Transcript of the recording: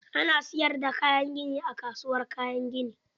Ana siyar da kayan gini a kasuwar Kayan gini.